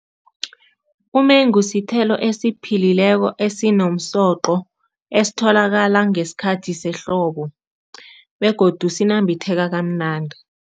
Umengu sithelo esiphilileko, asinomsoqo, esitholakala ngesikhathi sehlobo begodu sinambitheka kamnandi.